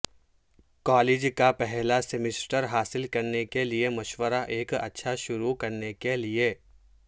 college کا پہلا semester حاصل کرنے کے لئے مشورہ ایک اچھا شروع کرنے کے لئے